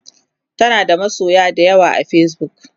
tanada masoya da yawa a Facebook